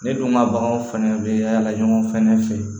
Ne dun ka baganw fɛnɛ be yaala ɲɔgɔn fɛnɛ fɛ